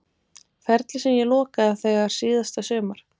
Ferli sem ég lokaði þegar síðasta sumar?